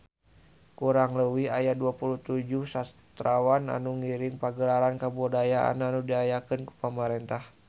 Kurang leuwih aya 27 sastrawan anu ngiring Pagelaran Kabudayaan anu diayakeun ku pamarentah